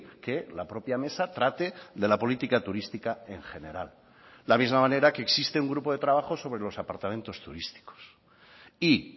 que la propia mesa trate de la política turística en general de la misma manera que existe un grupo de trabajo sobre los apartamentos turísticos y